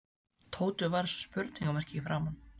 Tóti varð eins og spurningarmerki í framan.